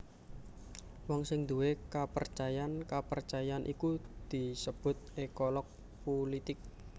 Wong sing nduwé kapercayan kapercayan iku disebut ékolog pulitik